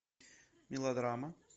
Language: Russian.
мелодрама